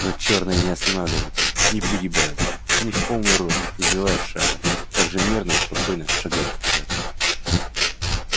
но чёрные не останавливаются не пригибаются они в полный рост не сбиваясь с шага так же мерно и спокойно шагают вперёд